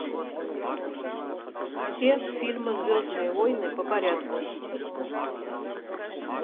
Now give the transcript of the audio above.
все фильмы звездные войны по порядку